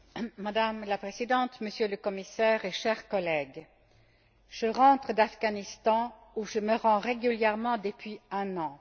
Madame la Présidente, Monsieur le Commissaire, chers collègues, je rentre d'Afghanistan, où je me rends régulièrement depuis un an.